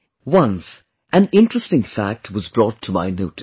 Once, an interesting fact was brought to my notice